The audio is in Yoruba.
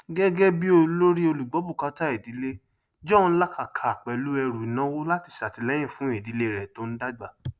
gégébí olórí olùgbọbùkátà ìdílé john làkàkà pẹlú ẹrù ìnáwó láti sàtìlẹyìn fún ìdílé rẹ tó ń dàgbà